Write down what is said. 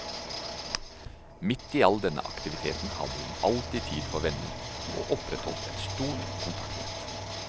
Midt i all denne aktivitet hadde hun alltid tid for venner, og opprettholdt et stort kontaktnett.